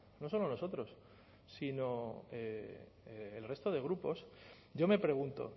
no solo nosotros sino el resto de grupos yo me pregunto